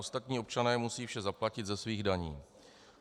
Ostatní občané musí vše zaplatit ze svých daní.